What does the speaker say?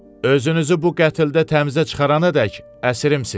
Özünüzü bu qətdə təmizə çıxaranadək əsrimsiz.